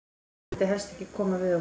Hún vildi helst ekki koma við okkur.